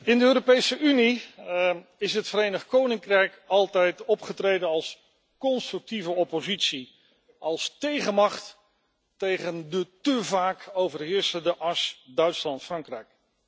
In de Europese Unie is het Verenigd Koninkrijk altijd opgetreden als constructieve oppositie, als tegenmacht tegen de te vaak overheersende as Duitsland Frankrijk.